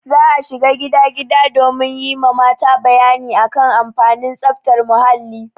Za a shiga gida gida domin yi ma mata bayani a kan amfanin tsaftar muhalli.